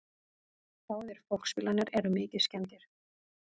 Báðir fólksbílarnir eru mikið skemmdir